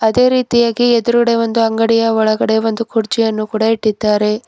ಇದೇ ರೀತಿಯಾಗಿ ಎದ್ರುಗಡೆ ಒಂದು ಅಂಗಡಿಯ ಒಳಗೆ ಒಂದು ಕುರ್ಚಿಯನ್ನು ಕೂಡ ಇಟ್ಟಿದ್ದಾರೆ.